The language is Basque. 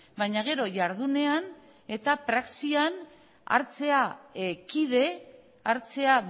baina gero jardunean eta praxian hartzea kide hartzea